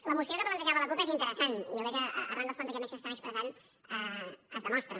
la moció que plantejava la cup és interessant i jo crec que arran dels plantejaments que s’estan expressant es demostra